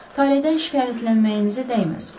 Taledən şikayətlənməyinizə dəyməz.